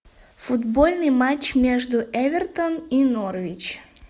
футбольный матч между эвертон и норвич